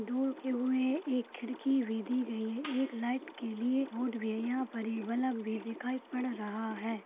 दो हुए हैं एक खिड़की विधि गयी है एक लाइट के लिए बोर्ड भी है यहाँ पर ये बलब भी दिखाई पड़ रहा है।